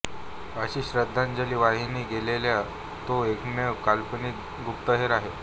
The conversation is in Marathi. अशी श्रद्धांजली वाहिली गेलेला तो एकमेव काल्पनिक गुप्तहेर आहे